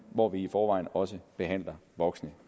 hvor vi i forvejen også behandler voksne